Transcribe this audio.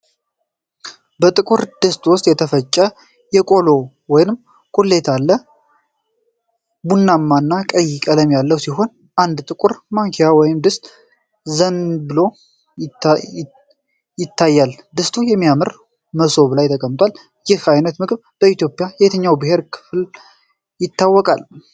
በጥቁር ድስት ውስጥ የተፈተተ የቆሎ ወይም ቁሌት ነው። ቡናማ እና ቀይ ቀለም ያለው ሲሆን አንድ ጥቁር ማንኪያ ወደ ድስቱ አዘንብሎ ይታያል። ድስቱ በሚያምር መሶብ ላይ ተቀምጧል። ይህ አይነት ምግብ በኢትዮጵያ የትኛው የብሔር ክፍል ይታወቃል?